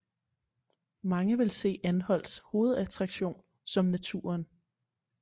Mange vil se anholts hovedattraktion som naturen